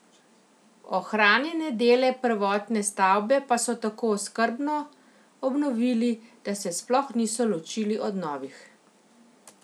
Ohranjene dele prvotne stavbe pa so tako skrbno obnovili, da se sploh niso ločili od novih.